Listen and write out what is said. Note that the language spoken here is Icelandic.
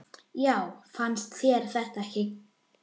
Já, fannst þér það ekki?